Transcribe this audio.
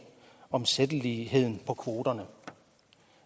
omsætteligheden på kvoterne